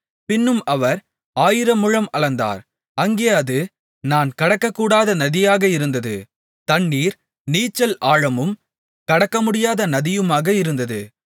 பின்னும் அவர் ஆயிரமுழம் அளந்தார் அங்கே அது நான் கடக்கக்கூடாத நதியாக இருந்தது தண்ணீர் நீச்சல் ஆழமும் கடக்கமுடியாத நதியுமாக இருந்தது